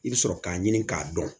I bɛ sɔrɔ k'a ɲini k'a dɔn